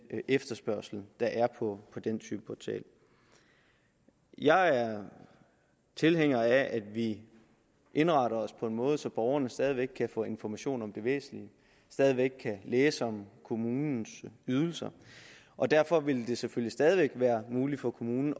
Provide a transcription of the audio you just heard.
efterspørgsel der er på den type portal jeg er tilhænger af at vi indretter os på en måde så borgerne stadig væk kan få information om det væsentlige stadig væk kan læse om kommunens ydelser og derfor vil det selvfølgelig stadig væk være muligt for kommunen